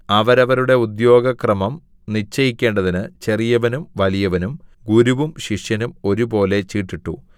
അവരവരുടെ ഉദ്യോഗക്രമം നിശ്ചയിക്കേണ്ടതിന് ചെറിയവനും വലിയവനും ഗുരുവും ശിഷ്യനും ഒരുപോലെ ചീട്ടിട്ടു